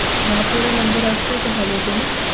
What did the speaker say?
না পড়ে number আসলেও তো ভালো হত না?